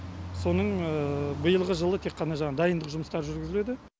соның биылғы жылы тек қана жаңағы дайындық жұмыстары жүргізіледі